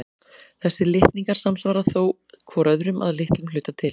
Þessir litningar samsvara þó hvor öðrum að litlum hluta til.